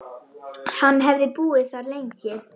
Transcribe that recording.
Hann hefði búið þar lengi.